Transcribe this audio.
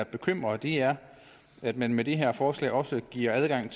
bekymrer og det er at man med det her forslag også giver adgang